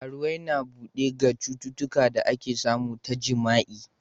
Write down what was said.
Karuwwai na bude ga citutuka da ake samu ta jima'i.